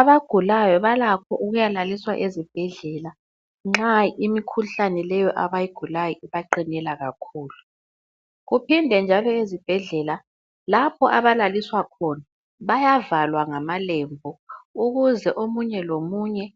Abagulayo balakho ukuyalaliswa ezibhedlela nxa imikhuhlane leyo abayigulayo ibaqinela kakhulu , kuphinde njalo ezibhedlela lapho abalaliswa khona , bayavalwa ngamalembu ,ukuze omunye lomunye